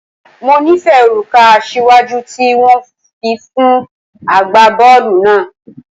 Mo nifẹ oruka asiwaju ti wọn fi fun agbabọọlu naa.